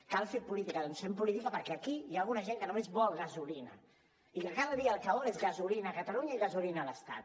cal fer política doncs fem política perquè aquí hi ha alguna gent que només vol gasolina i que cada dia el que vol és gasolina a catalunya i gasolina a l’estat